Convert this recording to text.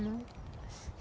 Não.